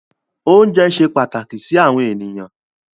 Oúnjẹ ṣe pàtàkì sí àwọn ènìyàn.